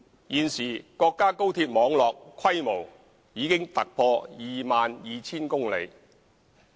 現時國家高鐵網絡規模已突破 22,000 公里。